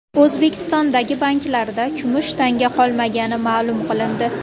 O‘zbekistondagi banklarda kumush tanga qolmagani ma’lum qilindi.